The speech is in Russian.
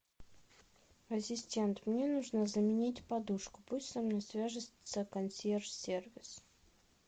ассистент мне нужно заменить подушку пусть со мной свяжется консьерж сервис